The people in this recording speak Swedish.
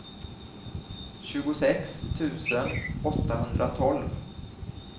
tjugosex tusen åttahundratolv